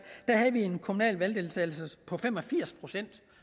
havde vi en kommunal valgdeltagelse på fem og firs procent